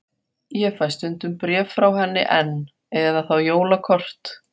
Ég fæ stundum bréf frá henni enn, eða þá jólakort.